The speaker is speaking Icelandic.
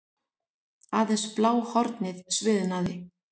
Aðeins bláhornið sviðnaði.